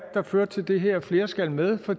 der førte til det her flere skal med for